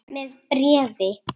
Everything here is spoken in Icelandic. Með bréfi.